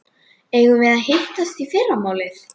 Eigum við að hittast í fyrramálið?